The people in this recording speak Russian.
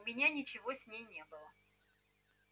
у меня ничего с ней не было